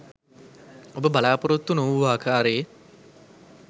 ඔබ බලා‍පොරොත්තු නොවූ ආකාරයේ